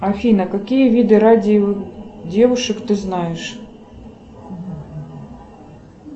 афина какие виды радио девушек ты знаешь